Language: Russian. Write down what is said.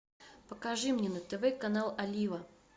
покажи мне на тв канал олива